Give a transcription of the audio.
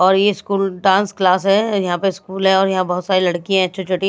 और ये school dance class है यहां पे स्कूल है और यहां पे बहुत सारी लड़कियां है छोटी छोटी--